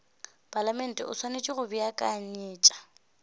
palamente o swanetše go beakanyetša